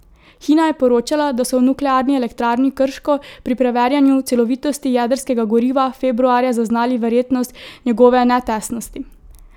Hina je poročala, da so v nuklearni elektrarni Krško pri preverjanju celovitosti jedrskega goriva februarja zaznali verjetnost njegove netesnosti.